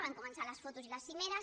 van començar les fotos i les cimeres